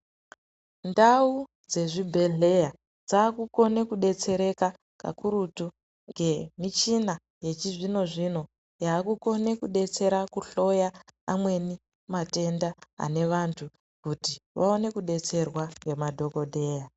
Ndau dzezvibhedhleya dzakukone kudetsereka kakurutu ngemichina yechizvino-zvino yakukone kudetsera kuhloya amweni matenda ane vantu, kuti vaone kudetserwa ngemadhokodheya.